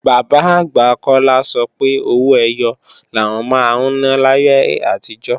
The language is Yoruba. Bàbá-àgbà Kọ́lá sọ pé owó ẹyọ làwọn máa ń ná láyé àtijọ́